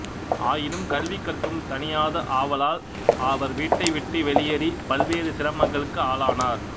ஆயினும் கல்வி கற்கும் தணியாத ஆவலால் அவர்வீட்டைவிட்டு வெளியேறி பல்வேறு சிரமங்களுக்கு ஆளானார்